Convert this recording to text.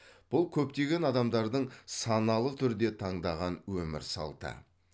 бұл көптеген адамдардың саналы түрде таңдаған өмір салты